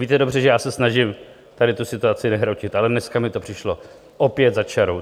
Víte dobře, že já se snažím tady tu situaci nehrotit, ale dneska mi to přišlo opět za čarou.